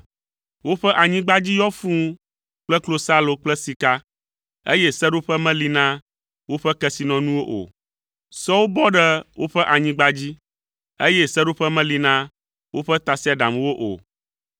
Woƒe anyigba dzi yɔ fũu kple klosalo kple sika, eye seɖoƒe meli na woƒe kesinɔnuwo o. Sɔwo bɔ ɖe woƒe anyigba dzi, eye seɖoƒe meli na woƒe tasiaɖamwo o.